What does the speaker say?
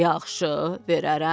Yaxşı, verərəm.